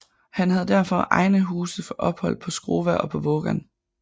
Han havde derfor egne huse for ophold på Skrova og på Vågan